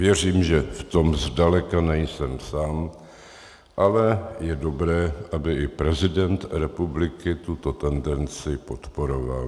Věřím, že v tom zdaleka nejsem sám, ale je dobré, aby i prezident republiky tuto tendenci podporoval.